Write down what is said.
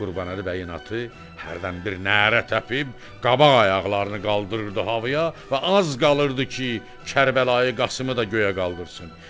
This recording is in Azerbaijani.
Qurbanəli bəyin atı hərdən bir nərə təpib qabaq ayaqlarını qaldırırdı havaya və az qalırdı ki, Kərbəlayı Qasımı da göyə qaldırsın.